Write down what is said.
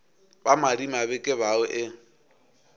ba madimabe ke bao e